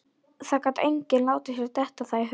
Það gat enginn látið sér detta það í hug.